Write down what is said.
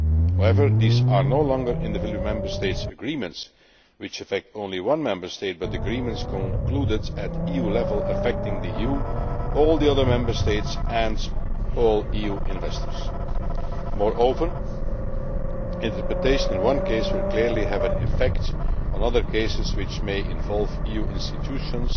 However, these are no longer individual Member State agreements which affect only one Member State but agreements concluded at EU level affecting the EU, all the other Member States and all EU investors. Moreover, interpretation in one case will clearly have an effect on other cases which may involve EU institutions,